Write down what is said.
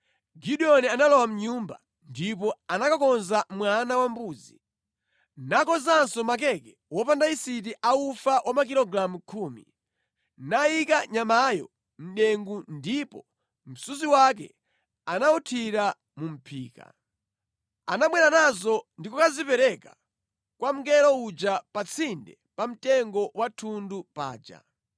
Gideoni analowa mʼnyumba, ndipo anakakonza mwana wambuzi, nakonzanso makeke wopanda yisiti a ufa wa makilogalamu khumi. Nayika nyamayo mʼdengu ndipo msuzi wake anawuthira mu mʼphika. Anabwera nazo ndi kukazipereka kwa mngelo uja pa tsinde pa mtengo wa thundu paja.